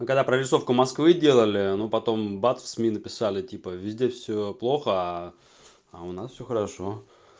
когда прорисовку москвы делали но потом бац в сми написали типа везде всё плохо а у нас всё хорошо